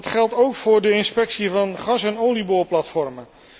Dat geldt ook voor de inspectie van gas en olieboorplatforms.